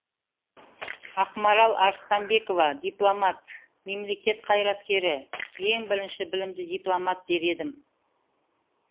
ақмарал арыстанбекова дипломат мемлекет қайраткері ең бірінші білімді дипломат дер едім